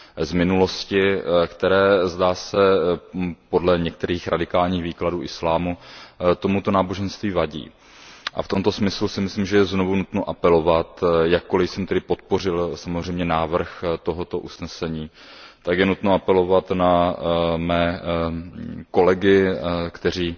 z minulosti, které, zdá se, podle některých radikálních výkladů islámu tomuto náboženství vadí, a v tomto smyslu je znovu nutno apelovat, jakkoliv jsem podpořil samozřejmě návrh tohoto usnesení, tak je nutno apelovat na mé kolegy, kteří